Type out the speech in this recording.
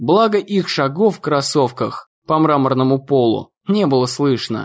благо их шагов в кроссовках по мраморному полу не было слышно